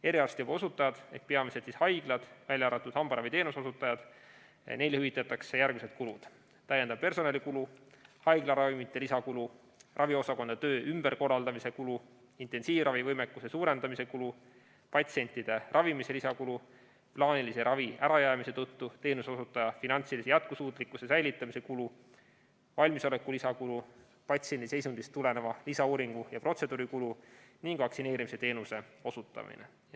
Eriarstiabi osutajatele ehk peamiselt haiglatele, välja arvatud hambaraviteenuse osutajad, hüvitatakse järgmised kulud: täiendav personalikulu, haiglaravimite lisakulu, raviosakondade töö ümberkorraldamise kulu, intensiivravivõimekuse suurendamise kulu, patsientide ravimise lisakulu, plaanilise ravi ärajäämise tõttu teenuseosutaja finantsilise jätkusuutlikkuse säilitamise kulu, valmisoleku lisakulu, patsiendi seisundist tuleneva lisauuringu ja ‑protseduuri kulu ning vaktsineerimisteenuse osutamise kulu.